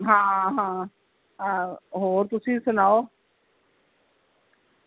ਹਾਂ ਹਾਂ ਆਹੋ ਹੋਰ ਤੁਸੀ ਸੁਣਾਓ